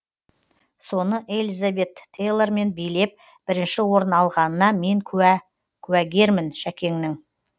соны элизабет тейлормен билеп бірінші орын алғанына мен куә куәгермін шәкеңнің